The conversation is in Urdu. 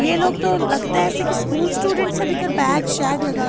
یہ لوگ تو لگتا ہیں ایسے کہ اسکول سٹوڈنٹس ہیں، بیکر بیگ سیگ لگا